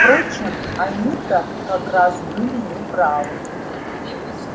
впрочем они-то как раз были не правы